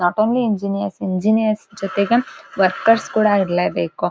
Not only engineers engineers ಜೊತೆಗೆ workers ಕೂಡ ಇರ್ಲೇಬೇಕು.